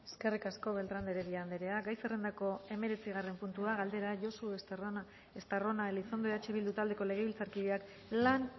eskerrik asko beltrán de heredia anderea gai zerrendako hemeretzigarren puntua galdera josu estarrona elizondo eh bildu taldeko legebiltzarkideak lan